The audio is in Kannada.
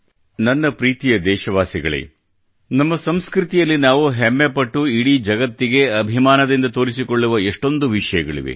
ನನ್ನ ಪ್ರೀತಿಯ ದೇಶವಾಸಿಗಳೇ ನಮ್ಮ ಸಂಸ್ಕೃತಿಯಲ್ಲಿ ನಾವು ಹೆಮ್ಮೆ ಪಟ್ಟು ಇಡೀ ಜಗತ್ತಿಗೆ ಅಭಿಮಾನದಿಂದ ತೋರಿಸಿಕೊಳ್ಳುವ ಎಷ್ಟೊಂದು ವಿಷಯಗಳಿವೆ